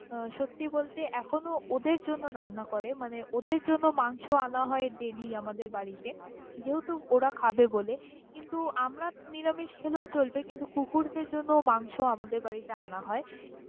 সত্যি বলতে এখনও ওদের জন্য রান্না করে মানে ওদের জন্য মাংস আনা হয় daily আমাদের বাড়িতে যেহেতু ওরা খাবে বোলে, কিন্তু আমারা নিরামিষ খেলেও চলবে কিন্তু কুকুরদের জন্য মাংস আমাদের বাড়িতে আনা হয়।